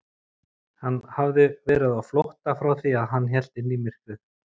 Hann hafði verið á flótta frá því að hann hélt inn í myrkrið.